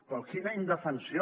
però quina indefensió